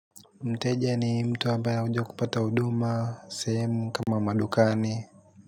Mteja ni mtu ambaye huja kupata huduma, sehemu kama madukani.